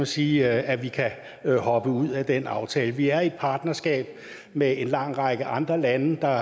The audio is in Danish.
sige at vi kan hoppe ud af den aftale vi er i et partnerskab med en lang række andre lande der